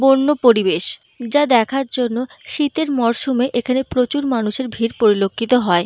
বন্য পরিবেশ যা দেখার জন্য শীতের মরসুমে এখানে প্রচুর মানুষের ভিড় পরিলক্ষিত হয়।